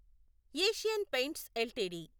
Asian Paints LTD